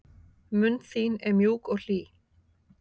Mund þín er mjúk og hlý.